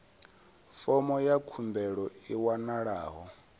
fomo ya khumbelo i wanalaho